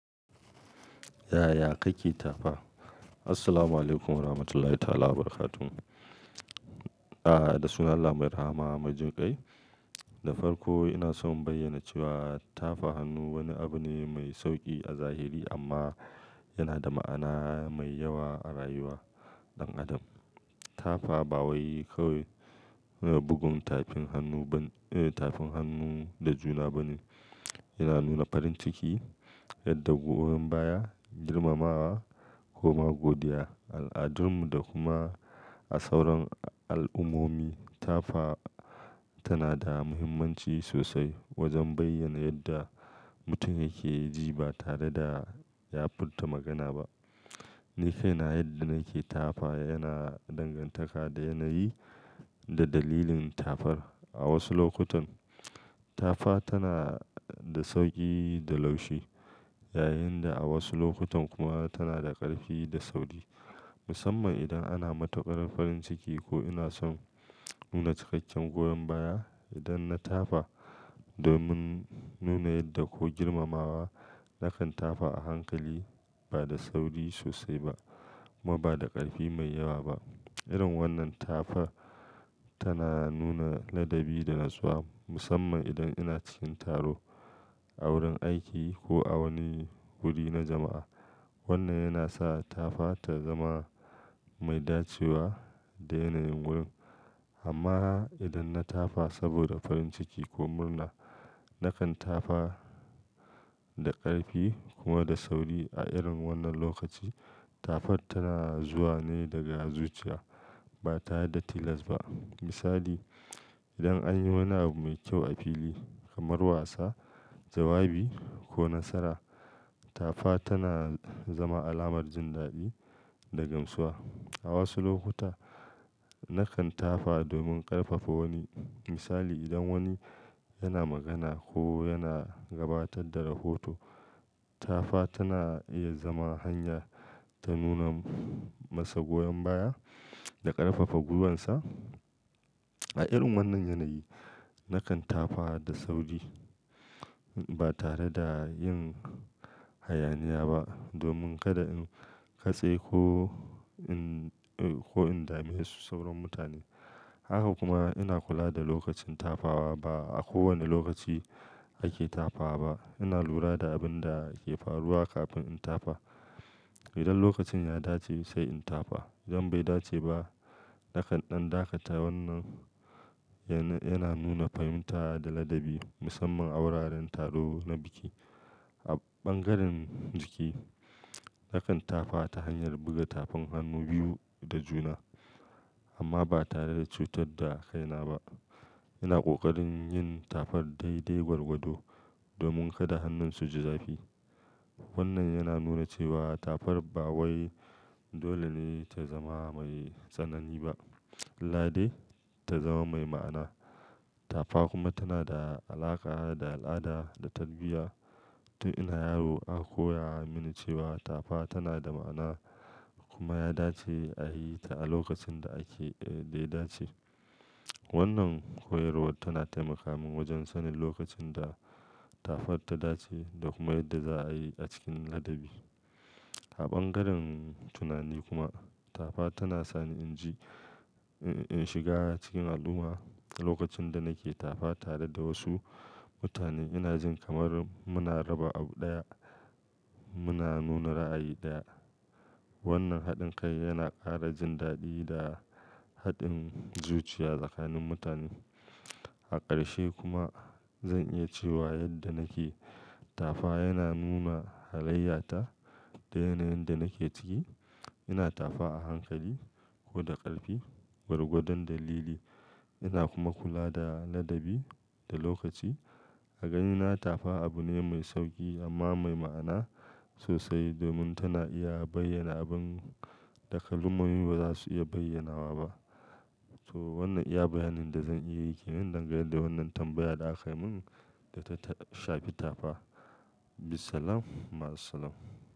Ya, ya kai keta fa. Assalamualaikum Warahmatullahi Ta'ala Wabarakatuh. Ah, da sunan Allah Mai Rahama Majin Kai. Da farko ina so in bayyana cewa tafa hannu wani abu ne mai sauƙi a zahiri amma yana da ma'ana mai yawa a rayuwar ɗan adam. Tafa ba wai kawai bugun tafin hannu da juna ba ne. Yana nuna farin ciki, yadda goyon baya, girmamawa ko ma godiya. A al'adunmu da kuma a sauran al'ummomi, tafa tana da muhimmanci sosai wajen bayyana yadda mutum yake ji ba tare da ya furta magana ba. Nikaina yadda nake tafa yana dangantaka da yanayi da dalilin tafan. A wasu lokutan tafa tana da sauƙi da laushi, yayin da a wasu lokutan kuma tana da ƙarfi da sauri, musamman idan ana mataƙarar farin ciki. Ko ina son nuna cikakken goyon baya, idan na tafa domin nuna yadda ko girmamawa, nakan tafa a hankali ba da sauri sosai ba kuma ba da ƙarfi mai yawa ba. Irin wannan tafa tana nuna ladabi da natsuwa, musamman idan ina cikin taro, a wurin aiki ko a wani wuri na jama'a. Wannan yana sa tafa ta zama mai dacewa da yanayin wurin. Amma idan na tafa saboda farin ciki ko murna, nakan tafa da ƙarfi kuma da sauri. A irin wannan lokaci, tafan tana zuwa ne daga zuciya ba tare da tilas ba. Misali, idan anyi wani abu mai kyau a fili kamar wasa, jawabi ko nasara, tafa tana zama alamar jin daɗi da gamsuwa. A wasu lokuta, nakan tafa domin ƙarfafa wani. Misali, idan wani yana magana ko yana gabatar da rahoto, tafa tana iya zama hanya ta nuna masa goyon baya da ƙarfafa gwiwar sa. A irin wannan yanayi, nakan tafa da sauri ba tare da yin hayaniya ba domin kada in katse ko in dame su sauran mutane. Haka kuma ina kula da lokacin tafawa. Ba a kowane lokaci ake tafa ba. Ina lura da abin da ke faruwa kafin in tafa. Idan lokacin ya dace sai in tafa. Idan bai dace ba, nakan ɗan dakata. Wannan yana nuna fahimta da ladabi, musamman a wuraren taro na biki. A ɓangaren jiki, nakan tafa ta hanyar buga tafin hannu biyu da juna amma ba tare da cutar da kaina ba. Ina ƙoƙarin yin tafar dai-dai gwargwado domin kada hannunsu su ji zafi. Wannan yana nuna cewa tafar ba wai dole ne ta zama mai tsanani ba, illa dai ta zama mai ma'ana. Tafa kuma tana da alaƙa da al'ada da tarbiyya. Tun ina yaro aka koya mini cewa tafa tana da ma'ana kuma ya dace a yi ta a lokacin da ake daya dace. Wannan koyarwa tana taimaka min wajen sanin lokacin da tafar ta dace da kuma yadda za a yi a cikin ladabi. A ɓangaren tunani kuma, tafa tana sa ni inji in shiga cikin al'umma. Lokacin da nake tafa tare da wasu mutane, ina jin kamar muna raba abu ɗaya, muna nuna ra'ayi ɗaya. Wannan haɗin kai yana ƙara jin daɗi da haɗin zuciya tsakanin mutane. A ƙarshe kuma, zan iya cewa yadda nake tafa yana nuna halayyata da yanayin da nake ciki. Ina tafa a hankali ko da ƙarfi, gwargwadon dalili. Ina kuma kula da ladabi da lokaci. A ganina tafa abu ne mai sauƙi amma mai ma'ana sosai domin tana iya bayyana abin da kalmomi ba za su iya bayyanawa ba. To wannan iya bayanin da zan iya yi ke nan dangane da wannan tambayar da aka yi min da ta shafe tafa. Bissalam, Ma'assalam.